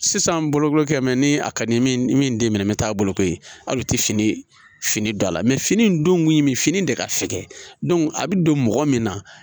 Sisan bolokoli kɛ mɛ ni a ka di min den minɛ bɛ taa boloko ye hali u tɛ fini fini don a la fini in don min fini de ka fɛkɛ a bɛ don mɔgɔ min na